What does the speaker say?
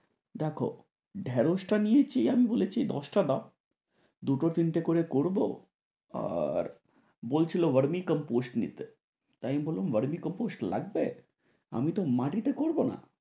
দেখো ঢেড়শটা নিয়েছি আমি বলেছি দশটা দাও, দুটো তিনটে করে করবো। আর বলছিলো গরমের কম্পোশ নিতে। তাই আমি বললাম গরমের কম্পোশ লাগবে? আমি তো মাটিতে করবো না।